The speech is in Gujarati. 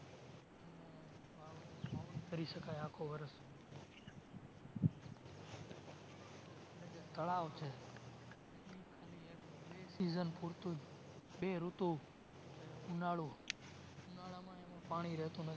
કરી શકાય આખું વર્ષ. તળાવ છે એ બે season પૂરતું જ બે ઋતુ ઉનાળો, ઉનાળામાં રહેતું નથી